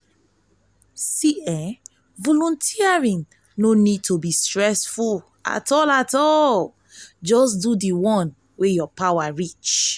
volunteering no nid to be stressful jus do di one wey yur power reach